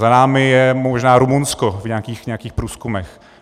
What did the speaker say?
Za námi je možná Rumunsko v nějakých průzkumech.